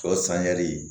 Sɔ samiyali